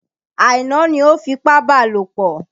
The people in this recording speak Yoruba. Aina ni o fipábalòpọ̀.